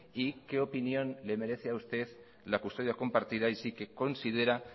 y qué opinión le merece a usted la custodia compartida y si que considera